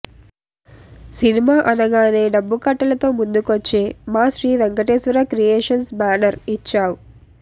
cinema అనగానే డబ్బుకట్టలతో ముందుకొచ్చే మా శ్రీ వెంకటేశ్వర క్రియేషన్స్ బేనర్ ఇచ్చావ్